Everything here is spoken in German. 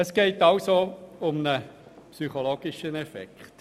Es geht also um einen psychologischen Effekt.